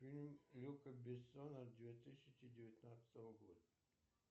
фильм люка бессона две тысячи девятнадцатого года